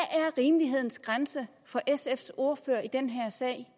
rimelighedens grænse for sfs ordfører i den her sag